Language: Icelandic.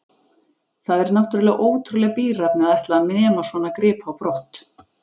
Það er náttúrlega ótrúleg bíræfni að ætla að nema svona grip á brott.